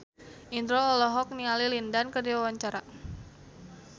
Indro olohok ningali Lin Dan keur diwawancara